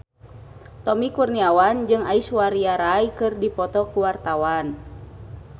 Tommy Kurniawan jeung Aishwarya Rai keur dipoto ku wartawan